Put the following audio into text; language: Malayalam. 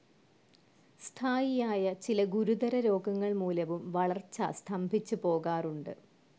സ്ഥായിയായ ചില ഗുരുതരരോഗങ്ങൾ മൂലവും വളർച്ച സ്തംഭിച്ചു പോകാറുണ്ട്.